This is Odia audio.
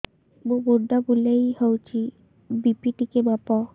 ମୋ ମୁଣ୍ଡ ବୁଲେଇ ହଉଚି ବି.ପି ଟିକେ ମାପ